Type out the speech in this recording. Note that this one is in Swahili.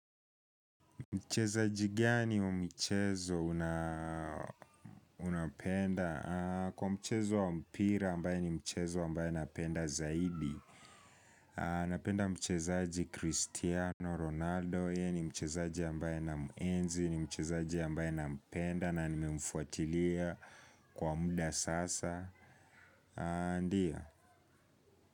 Mchezaji gani wa mchezo unampenda? Kwa mchezo wa mpira ambae ni mchezo ambae napenda zaidi. Napenda mchezaji Cristiano Ronaldo, yeye ni mchezaji ambae ninamuenzi, ni mchezaji mbae nampenda na nimemfuatilia kwa muda sasa.